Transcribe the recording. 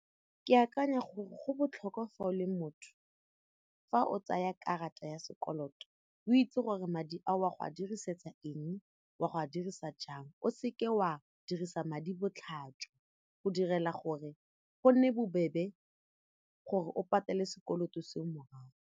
Ke akanya gore go botlhokwa fa o le motho fa o tsaya karata ya sekoloto o itse gore madi a o wa go a dirisetsa eng wa go a dirisa jang o seke wa dirisa madi botlhatswa go direla gore go nne bobebe gore o patele sekoloto seo morago.